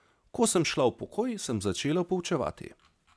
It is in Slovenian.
Ko sem šla v pokoj, sem začela poučevati.